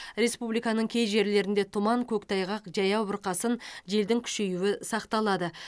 республиканың кей жерлерінде тұман көктайғақ жаяу бұрқасын желдің күшеюі сақталады